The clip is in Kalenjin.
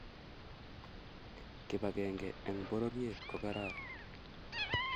Kibagenge eng' pororiet kokararan